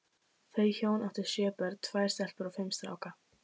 Þau hjón áttu sjö börn, tvær stelpur og fimm stráka.